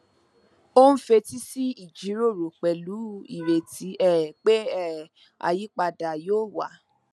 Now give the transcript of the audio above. ó ń fetí sí ìjíròrò pẹlú ireti um pé um àyípadà yóò wá